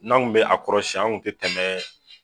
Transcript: N'an kun bɛ a kɔrɔsiɲɛ anw kun tɛ tɛmɛɛɛ.